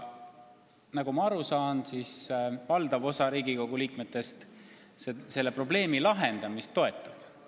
Nagu ma aru saan, valdav osa Riigikogu liikmetest selle probleemi lahendamist toetab.